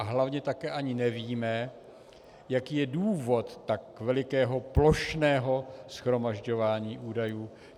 A hlavně také ani nevíme, jaký je důvod tak velikého plošného shromažďování údajů.